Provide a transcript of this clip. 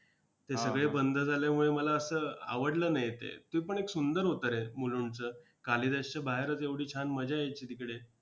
ते सगळे बंद झाल्यामुळे, मला असं आवडलं नाही ते! ते पण एक सुंदर होतं रे मुलुंडचं! कालिदासच्या बाहेरच एवढी छान मजा यायची तिकडे.